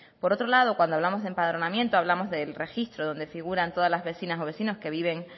por otro lado cuando hablamos de empadronamiento hablamos del registro donde figuran todas las vecinas o vecinos que viven